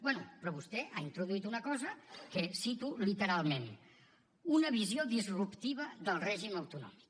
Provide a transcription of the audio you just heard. bé però vostè ha introduït una cosa que cito literalment una visió disruptiva del règim autonòmic